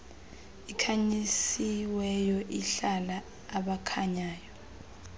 ikhanyisiweyo ihlala abakhanyayo